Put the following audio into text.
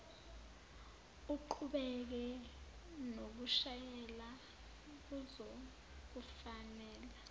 uqhubeke nokushayela kuzokufanela